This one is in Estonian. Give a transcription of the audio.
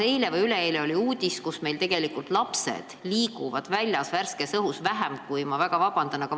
Eile või üleeile oli ka uudis, et meil liiguvad lapsed värskes õhus vähem kui – ma palun väga vabandust!